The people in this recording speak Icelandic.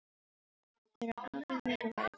Þau eru afar mikilvæg, góði minn.